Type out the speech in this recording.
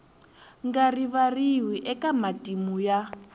nga rivariwi eka matimu ya